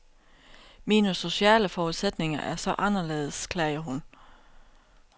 Mine sociale forudsætninger er så anderledes, klager hun.